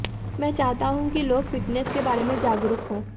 मैं चाहता हूं कि लोग फिटनेस के बारे में जागरूक हों